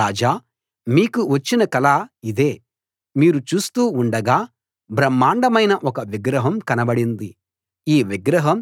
రాజా మీకు వచ్చిన కల ఇదే మీరు చూస్తూ ఉండగా బ్రహ్మాండమైన ఒక విగ్రహం కనబడింది ఈ విగ్రహం